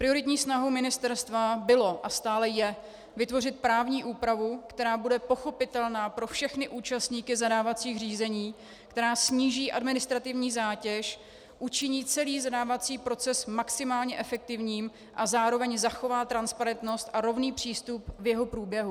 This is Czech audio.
Prioritní snahou ministerstva bylo a stále je vytvořit právní úpravu, která bude pochopitelná pro všechny účastníky zadávacích řízení, která sníží administrativní zátěž, učiní celý zadávací proces maximálně efektivním a zároveň zachová transparentnost a rovný přístup v jeho průběhu.